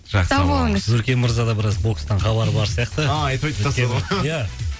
жақсы сау болыңыз өркен мырза да біраз бокстан хабары бар сияқты ия айтып айтып тастады ғой ия